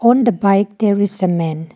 on the bike there is a man.